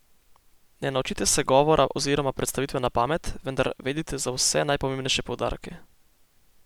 Ne naučite se govora oziroma predstavitve na pamet, vendar vedite za vse najpomembnejše poudarke.